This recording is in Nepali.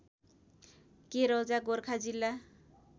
केरौजा गोर्खा जिल्ला